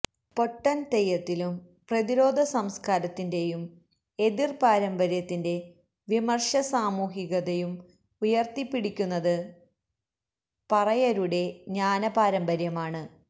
പൊട്ടൻ തെയ്യത്തിലും പ്രതിരോധസംസ്കാരത്തിന്റെയും എതിർ പാരമ്പര്യത്തിന്റെ വിമർശസാമൂഹികതയും ഉയർത്തിപിടിക്കുന്നത് പറയരുടെ ജ്ഞാനപാരമ്പര്യമാണ്